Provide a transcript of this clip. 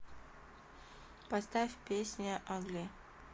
поставь песня агли